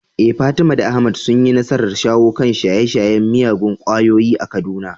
Eh Fatima da Ahmad sun yi nasarar shawo kan shaye-shayen miyagun ƙwayoyi a Kaduna.